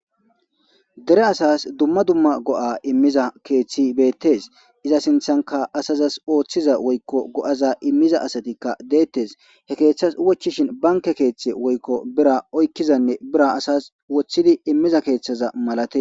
Dere asas dumma dumma go'a immiza keeththi beettes iza sinthanka asazas ooththiza woykko go7aza immiza asatikka deettes he keeththas wochishin banke keeththe woykko bira oykkizanne bira asas woththidi immiza keeththaza malate.